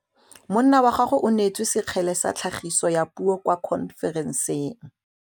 Monna wa gagwe o neetswe sekgele sa tlhagisô ya puo kwa khonferenseng.